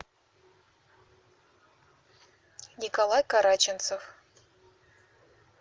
николай караченцов